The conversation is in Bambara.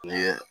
Ni